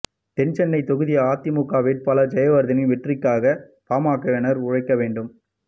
தென்சென்னை தொகுதி அதிமுக வேட்பாளர் ஜெயவர்தனின் வெற்றிக்காக பாமகவினர் உழைக்க வேண்டும்